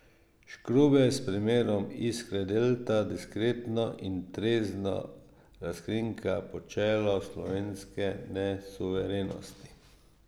Škrubej s primerom Iskre Delte diskretno in trezno razkrinka počelo slovenske nesuverenosti.